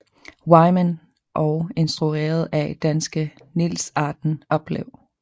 Wyman og instrueret af danske Niels Arden Oplev